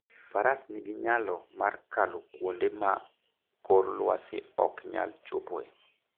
Faras nigi nyalo mar kalo kuonde ma kor lwasi ok nyal chopoe.